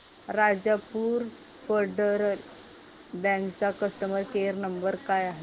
Rajapur Federal Bank चा customer care number काय आहे